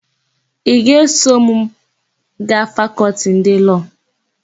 Ị ga-eso m gaa Fakọltị ndị Lọọ?